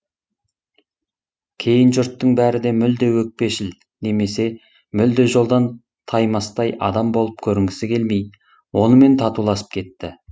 кейін жұрттың бәрі де мүлде өкпешіл немесе мүлде жолдан таймастай адам болып көрінгісі келмей онымен татуласып кетті